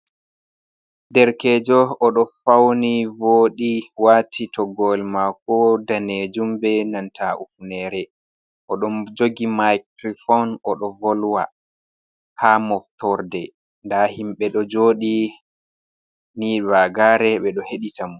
Derkejo oɗo fauni voɗi wati toggore mako danejum be nanta hufnere, oɗo jogi mikrofon oɗo volwa ha moftorde nda himɓe ɗo joɗi ni vagare ɓeɗo heɗita mo.